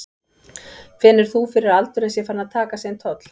Finnur þú fyrir að aldurinn sé farinn að taka sinn toll?